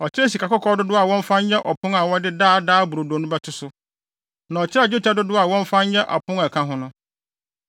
Ɔkyerɛɛ sikakɔkɔɔ dodow a wɔmfa nyɛ ɔpon a wɔde Daa Daa Brodo no bɛto so; na ɔkyerɛɛ dwetɛ dodow a wɔmfa nyɛ apon a ɛka ho no.